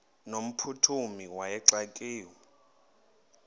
no mphuthumi wayexakiwe